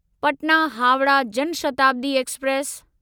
Patna Howrah Jan Shatabdi express